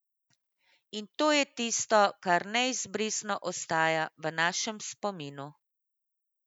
In to je tisto, kar neizbrisno ostaja v našem spominu.